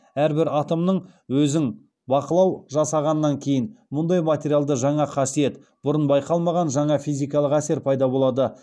әрбір атомның өзің бақылау жасағаннан кейін мұндай материалда жаңа қасиет бұрын байқалмаған жаңа физикалық әсер пайда болады